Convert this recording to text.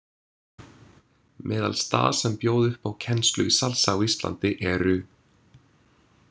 Meðal staða sem bjóða upp á kennslu í salsa á Íslandi eru.